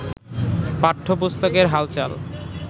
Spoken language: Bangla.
পাঠ্যপুস্তকের হালচাল